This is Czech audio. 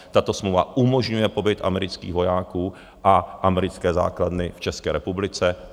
Tato smlouva umožňuje pobyt amerických vojáků a americké základny v České republice.